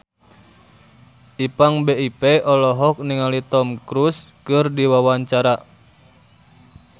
Ipank BIP olohok ningali Tom Cruise keur diwawancara